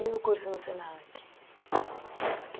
E o curso no Senac?